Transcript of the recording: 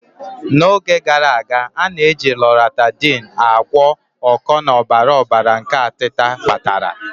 N'oge gara aga, a na-eji Loratadine agwọ oko na ọbara ọbara nke atita kpatara.